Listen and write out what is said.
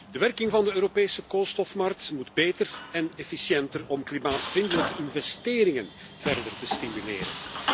De werking van de Europese koolstofmarkt moet beter en efficiënter om klimaatvriendelijke investeringen verder te stimuleren.